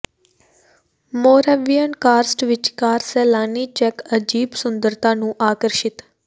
Moravian Karst ਵਿੱਚਕਾਰ ਸੈਲਾਨੀ ਚੈੱਕ ਅਜੀਬ ਸੁੰਦਰਤਾ ਨੂੰ ਆਕਰਸ਼ਿਤ